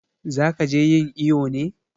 Za ki je yin iƴo ne?